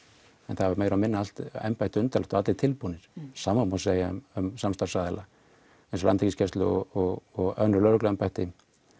það var meira og minna allt embættið undirlagt og allir tilbúnir sama má segja um samstarfsaðila eins og Landhelgisgæsluna og önnur lögregluembætti